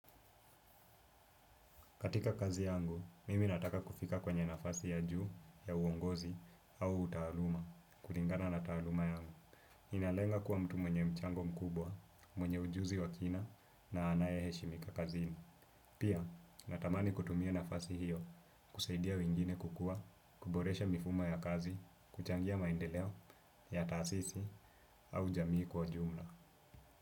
Katika kazi yangu, mimi nataka kufika kwenye nafasi ya juu, ya uongozi, au utaaluma, kulingana na taluma yangu. Ninalenga kuwa mtu mwenye mchango mkubwa, mwenye ujuzi wa kina, na anaye heshimika kazini. Pia, natamani kutumia nafasi hiyo, kusaidia wengine kukua, kuboresha mifumo ya kazi, kuchangia maendeleo, ya taasisi, au jamii kwa jumla.